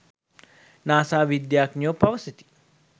NASA විද්‍යාඥයෝ පවසති